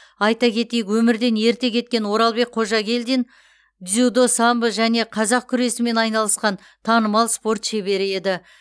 айта кетейік өмірден ерте кеткен оралбек қожагелдин дзюдо самбо және қазақ күресімен айналысқан танымал спорт шебері еді